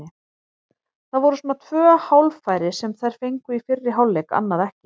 Það voru svona tvö hálffæri sem þær fengu í fyrri hálfleik, annað ekki.